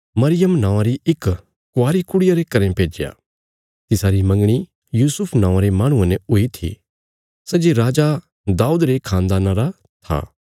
मरियम नौआं री इक क्वारी कुड़िया रे घरें भेज्या तिसारी मंगणी यूसुफ नौआं रे माहणुये ने हुई थी सै जे राजा दाऊद रे खानदाना रा था